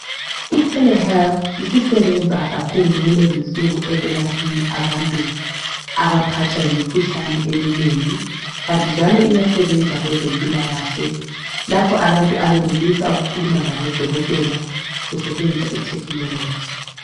I Telehealth isisebenza kakhulu kulezi insuku ukwelaphani abantu abaphathwa yimikhuhlane eminingi, kanti njalo iyasebenza kwezempilakahle lapho abantu abanelisa ukukhuluma labo dokotela ukusetshenziswa itechnology.